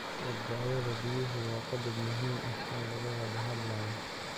Badbaadada biyuhu waa qodob muhiim ah oo laga wada hadlayo.